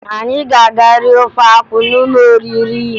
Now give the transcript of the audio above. Anyị ga-aga rie ofe akwụ n'ụlọ oriri